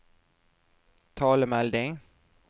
talemelding